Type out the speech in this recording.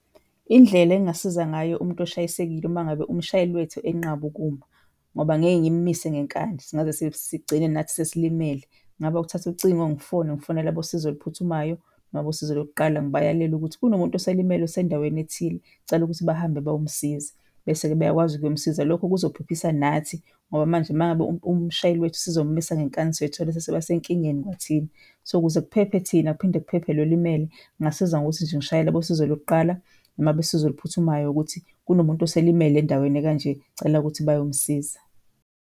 Indlela engingasiza ngayo umntu oshayisekile uma ngabe umshayeli wethu enqaba ukuma, ngoba ngeke ngimumise ngenkani singaze sigcine nathi sesilimele, kungaba ukuthatha ucingo ngifone ngifonele abosizo oluphuthumayo noma abosizo lokuqala ngibayalele ukuthi kunomuntu oselimele osendaweni ethile, ngicela ukuthi bahambe bayomsiza. Bese-ke beyakwazi kuyomsiza. Lokho kuzophephisa nathi ngoba manje mangabe umshayeli wethu sizomumisa ngenkani soyithola sesiba senkingeni kwathina. So, ukuze kuphephe thina kuphinde kuphephe lo olimele, ngingasiza nje ngokuthi ngishayele abosizo lokuqala noma abesizo usizo oluphuthumayo ukuthi kunomuntu oselimele endaweni ekanje, ngicela ukuthi bayomsiza.